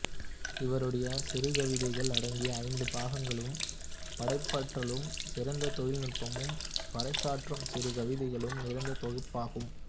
இவருடைய சிறுகவிதைகள் அடங்கிய ஐந்து பாகங்களும் படைப்பாற்றலும் சிறந்த தொழில்நுட்பமும் பறைசாற்றும் சிறு கவிதைகளும் நிறைந்த தொகுப்பாகும்